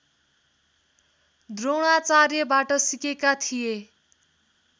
द्रोणाचार्यबाट सिकेका थिए